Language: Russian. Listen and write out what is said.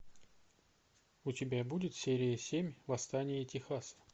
у тебя будет серия семь восстание техаса